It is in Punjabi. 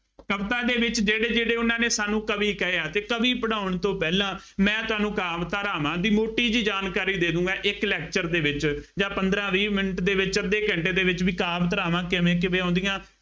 ਕਵਿਤਾ ਦੇ ਵਿੱਚ ਜਿਹੜੇ ਜਿਹੜੇ ਉਹਨਾ ਨੇ ਸਾਨੂੰ ਕਵੀ ਕਹੇ ਆ, ਕਵੀ ਪੜ੍ਹਾਉਣ ਤੋਂ ਪਹਿਲਾਂ ਮੈਂ ਤੁਹਾਨੂੰ ਕਾਮ ਧਾਰਾਵਾਂ ਦੀ ਮੋਟੀ ਜਿਹੀ ਜਾਣਕਾਰੀ ਦੇ ਦੇਉੂਂਗਾ, ਇੱਕ lecture ਦੇ ਵਿੱਚ ਜਾਂ ਪੰਦਰਾਂ ਵੀਹ ਮਿੰਟ ਦੇ ਵਿੱਚ, ਅੱਧੇ ਘੰਟੇ ਦੇ ਵਿੱਚ, ਬਈ ਕਾਮ ਧਾਰਾਵਾਂ ਕਿਵੇਂ ਕਿਵੇਂ ਆਉਂਦੀਆਂ